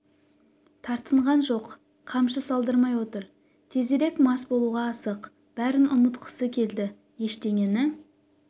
тартынған жоқ қамшы салдырмай отыр тезірек мас болуға асық бәрін ұмытқысы келді ештеңені